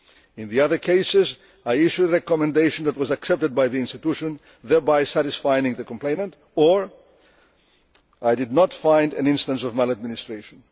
In the other cases I issued a recommendation that was accepted by the institution, thereby satisfying the complainant, or I did not find an instance of maladministration.